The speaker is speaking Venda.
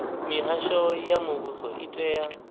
mihasho ya muvhuso i tea